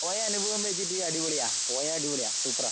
പോയ അനുഭവം വെച്ചിട്ട് അടിപൊളിയാ, പോയാ അടിപൊളിയാ സൂപ്പറാ.